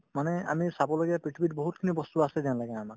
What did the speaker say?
মানে আমি চাবলগীয়া পৃথিৱীত বহুতখিনি বস্তু আছে আমাক